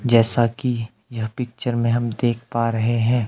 जैसा कि यह पिक्चर में हम देख पा रहे हैं।